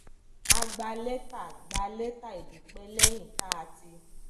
a gba létà gba létà ìdúpé léyìn tá a ti